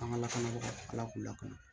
An ka lakanabaga k'u lakana